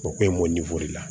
O ko in bɔ la